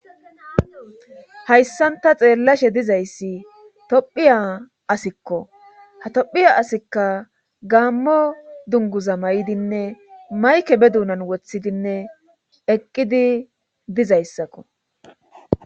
hayssanta xeellashe dizayssi tophiya asikko ha tophiya asikka gaammo dunguza may7idinne mayke be duunan wothidinne eqqidi dizayssakko